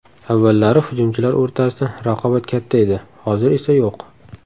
Avvallari hujumchilar o‘rtasida raqobat katta edi, hozir esa yo‘q.